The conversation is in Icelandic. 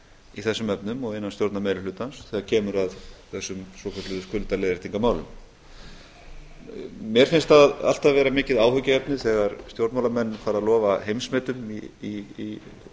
í þessum efnum og innan stjórnarmeirihlutans þegar kemur að þessum svokölluðu skuldaleiðréttingarmálum mér finnst það alltaf vera mikið áhyggjuefni þegar stjórnmálamenn fara að lofa heimsmetum í